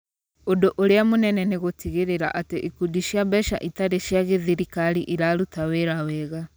Ũndũ ũrĩa mũnene nĩ gũtigĩrĩra atĩ ikundi cia mbeca itarĩ cia gĩthirikari iraruta wĩra wega.